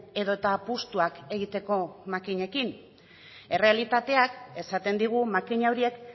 edota apustuak egiteko makinekin errealitateak esaten digu makina horiek